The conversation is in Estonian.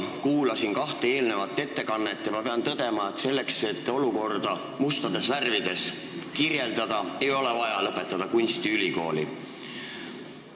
Ma kuulasin huviga kahte eelnevat ettekannet ja pean tõdema, et selleks, et olukorda mustades värvides kirjeldada, ei ole vaja lõpetada kunstiülikooli.